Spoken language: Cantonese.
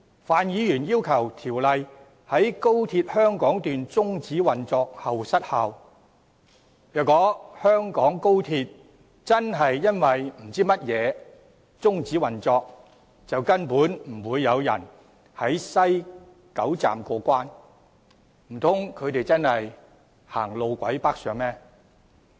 范議員要求條例在高鐵香港段終止運作後失效，但如果香港高鐵真的不知因何故終止運作，根本不會有人在西九龍站過關，難道他們會走路軌北上嗎？